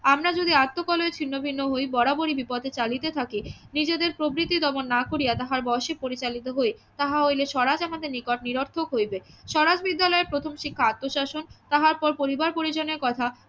আমরা যদি আত্মকলহে ছিন্ন ভিন্ন হই বরাবরই বিপথে চালিতে থাকি নিজেদের প্রবৃত্তি দমন না করিয়া তাহার বশে পরিচালিত হই তাহা হইলে স্বরাজ আমাদের নিকট নিরর্থক হইবে স্বরাজ বিদ্যালয়ের প্রথম শিক্ষা আত্মশাসন তাহার পর পরিবার পরিজনের কথা